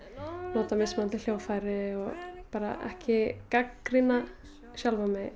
nota mismunandi hljóðfæri bara ekki gagnrýna sjálfa mig